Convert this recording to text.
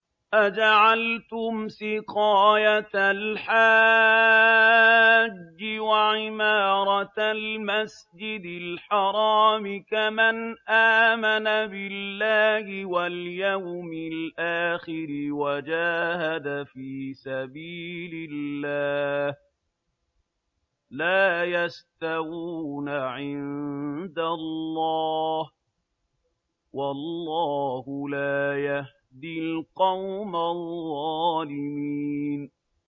۞ أَجَعَلْتُمْ سِقَايَةَ الْحَاجِّ وَعِمَارَةَ الْمَسْجِدِ الْحَرَامِ كَمَنْ آمَنَ بِاللَّهِ وَالْيَوْمِ الْآخِرِ وَجَاهَدَ فِي سَبِيلِ اللَّهِ ۚ لَا يَسْتَوُونَ عِندَ اللَّهِ ۗ وَاللَّهُ لَا يَهْدِي الْقَوْمَ الظَّالِمِينَ